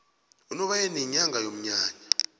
unobayeni yinyanga yomnyanya